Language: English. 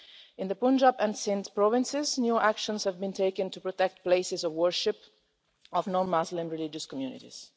In the Punjab and Sindh provinces new actions have been taken to protect places of worship of non-Muslim religious communities.